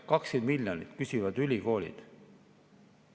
20 miljonit küsivad ülikoolid.